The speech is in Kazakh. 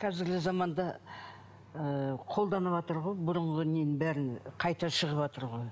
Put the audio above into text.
қазіргі заманда ы қолданыватыр ғой бұрынғы ненің бәрін қайта шығыватыр ғой